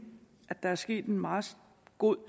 at der er sket en meget god